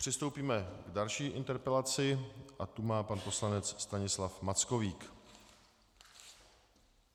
Přistoupíme k další interpelaci a tu má pan poslanec Stanislav Mackovík.